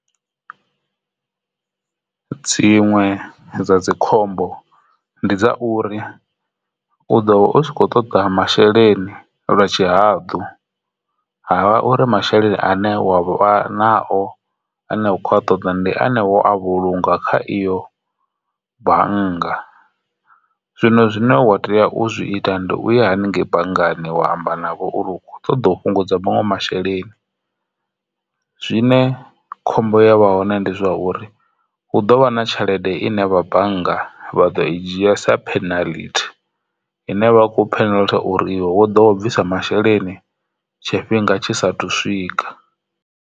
Dziṅwe dza dzi khombo ndi dza uri u ḓo vha u kho ṱoḓa masheleni lwa tshihaḓu ha vha uri masheleni ane wavha nao ane u kho ṱoḓa ndi ane wo a vhulunga kha iyo bannga. Zwino zwine wa tea u zwi ita ndi uya haningei banngani wa amba navho uri u kho ṱoḓa u fhungudza vhaṅwe masheleni, zwine khombo ya vha hone ndi zwone zwa uri hu ḓo vha na tshelede ine vha bannga vha ḓo i dzhia sa penalty ine vha khou penalty uri iwe wo do vha bvisa masheleni tshifhinga tshi sa thu swika.